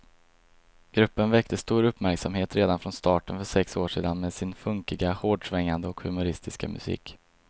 Gruppen väckte stor uppmärksamhet redan från starten för sex år sedan med sin funkiga, hårdsvängande och humoristiska musik.